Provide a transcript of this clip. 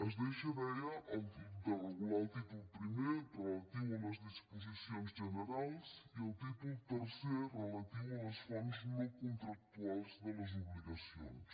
es deixa deia de regular el títol primer relatiu a les disposicions generals i el títol tercer relatiu a les fonts no contractuals de les obligacions